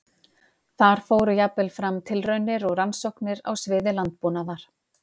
Þar fóru jafnvel fram tilraunir og rannsóknir á sviði landbúnaðar.